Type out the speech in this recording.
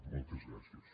moltes gràcies